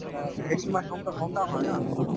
হেৰি তুমাৰ home town home town হয় ন